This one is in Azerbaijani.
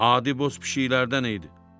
Adi boz pişiklərdən idi.